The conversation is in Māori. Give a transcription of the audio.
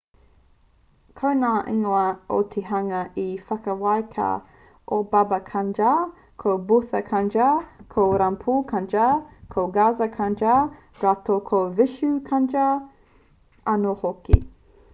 ko ngā ingoa o te hunga i whakawākia ko baba kanjar ko bhutha kanjar ko rampro kanjar ko gaza kanjar rātou ko vishnu kanjar anō hoki